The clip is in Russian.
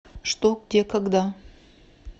что где когда